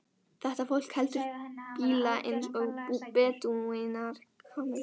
Þetta fólk heldur bíla eins og bedúínar kameldýr.